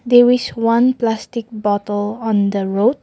there is one plastic bottle on the road.